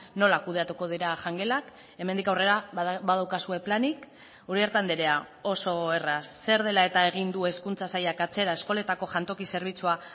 nola kudeatuko dira jangelak hemendik aurrera badaukazue planik uriarte andrea oso erraz zer dela eta egin du hezkuntza sailak atzera eskoletako jantoki zerbitzua